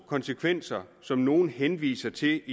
konsekvenser som nogle henviser til det